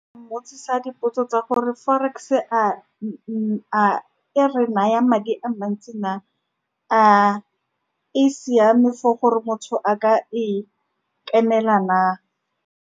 Mmotsisa dipotso tsa gore forex-e a we re naya madi a mantsi na, a e siame for gore motho a ka e kenela na.